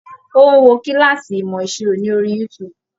Ó ń wo kílàsì ìmọ̀ ìṣirò ní orí youtube.